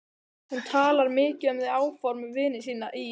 Hún talar mikið um þau áform við vini sína í